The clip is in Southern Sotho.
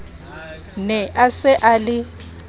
ne a se a le